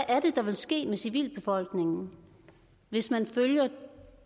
er det der vil ske med civilbefolkningen hvis man følger